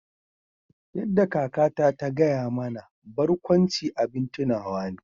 Yadda kakata ta gaya mana barkwanci abin tunawa ne